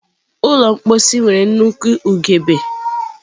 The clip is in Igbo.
Ụlọ mposi nwere nnukwu ugegbe.